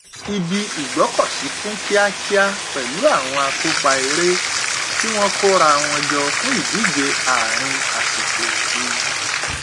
ibi ìgbọkọsí kún kíakíá pẹlú àwọn akópa eré tí wọn kóra wọn jọ fún ìdíje àárín àsìkò oru